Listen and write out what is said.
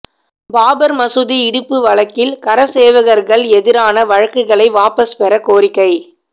பாபா் மசூதி இடிப்பு வழக்கில் கரசேவகா்கள் எதிரான வழக்குகளை வாபஸ் பெற கோரிக்கை